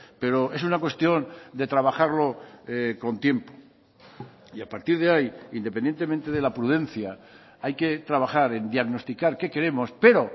pero es una cuestión de trabajarlo con tiempo y a partir de ahí independientemente de la prudencia hay que trabajar en diagnosticar qué queremos pero